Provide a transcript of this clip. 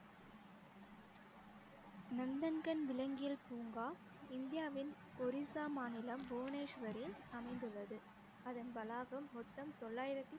நந்தன்கன் விளங்கியல் பூங்கா இந்தியாவின் ஒரிசா மாநிலம் புவனேஸ்வரில் அமைந்துள்ளது அதன் வளாகம் மொத்தம் தொள்ளாயிரத்தி